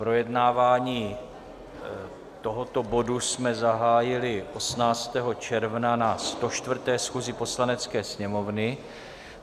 Projednávání tohoto bodu jsme zahájili 18. června na 104. schůzi Poslanecké sněmovny.